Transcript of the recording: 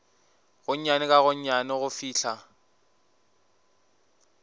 gonnyane ka gonnyane go fihla